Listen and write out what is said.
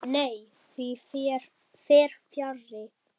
Nei, því fer fjarri.